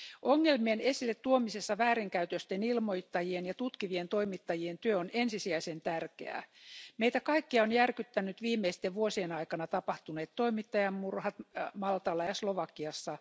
Ongelmien esille tuomisessa väärinkäytösten ilmoittajien ja tutkivien toimittajien työ on ensisijaisen tärkeää. Meitä kaikkia ovat järkyttäneet viimeisten vuosien aikana tapahtuneet toimittajien murhat Maltalla ja Slovakiassa.